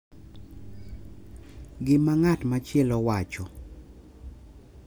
Gima ng’at machielo wacho;